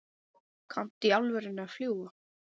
Kanntu í alvöru að fljúga?